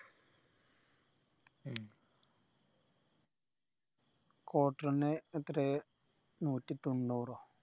ഉം quarter ന് എത്രയാ ന്നൂറ്റി തൊണ്ണൂറോ